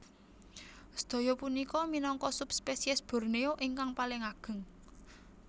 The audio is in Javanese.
Sedaya punika minangka subspesies Borneo ingkang paling ageng